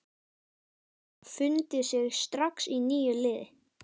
Hverjir hafa fundið sig strax í nýju liði?